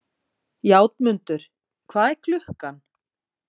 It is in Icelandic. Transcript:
Játmundur, hvað er klukkan?